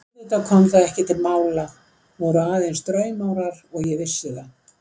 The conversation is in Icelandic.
En auðvitað kom það ekki til mála, voru aðeins draumórar, ég vissi það.